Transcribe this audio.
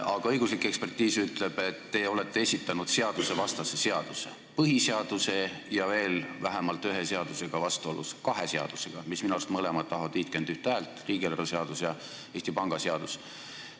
Aga õiguslik ekspertiis ütleb, et te olete esitanud seadusvastase seaduse, mis on vastuolus põhiseadusega ja veel vähemalt kahe seadusega, mille vastuvõtmine minu arust tahab vähemalt 51 häält: need on riigieelarve seadus ja Eesti Panga seadus.